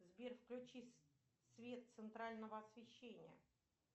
сбер включи свет центрального освещения